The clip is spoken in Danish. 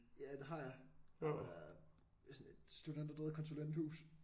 Ja det har jeg arbejder ved sådan et studenterdrevet konsulenthus